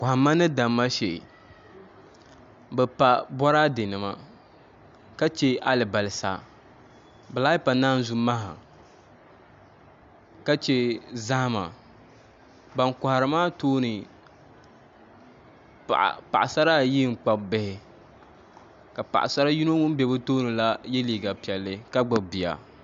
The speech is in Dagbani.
Kohamma ni damma shee bi pa boraadɛ nima ka chɛ alibarisa bi lahi pa naanzu maha ka chɛ zahama ban kohari maa tooni paɣasara ayi n kpabi bihi ka paɣasari yino ŋun bɛ bi tooni la yɛ liiga piɛlli ka gbubi bia